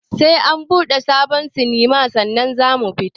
Sai an buɗe sabon sinima sannan zamu fita